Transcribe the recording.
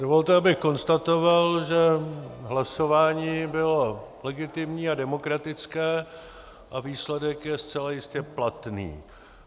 Dovolte, abych konstatoval, že hlasování bylo legitimní a demokratické a výsledek je zcela jistě platný.